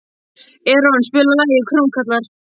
Eron, spilaðu lagið „Krómkallar“.